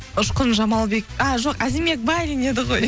ұшқын жамалбек а жоқ әзімбек байлин еді ғой